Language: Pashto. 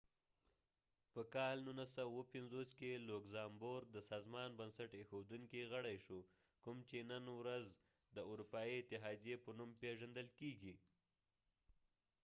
په کال 1957 کې لوګزامبورګ د سازمان بنسټ ایښودونکي غړی شو کوم چې نن ورځ د اروپایي اتحاديې په نوم پیژندل کیږي